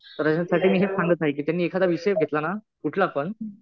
तर याच्यासाठी मी हे सांगत आहे कि त्यांनी एखादा विषय घेतला ना कुठलापण